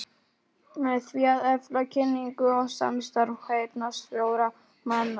Með því að efla kynningu og samstarf heyrnarsljórra manna.